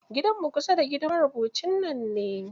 Gidanmu kusa da gidan marubucin nan ne.